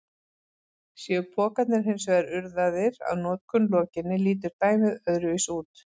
Séu pokarnir hins vegar urðaðir að notkun lokinni lítur dæmið öðruvísi út.